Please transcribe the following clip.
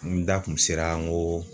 N da kun sera n go